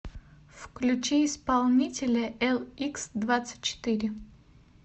включи исполнителя эликсдвадцатьчетыре